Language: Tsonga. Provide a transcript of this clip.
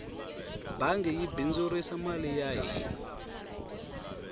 bangi yi bindzurisa mali ya hina